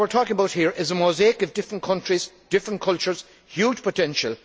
So what we are talking about here is a mosaic of different countries, different cultures, with huge potential.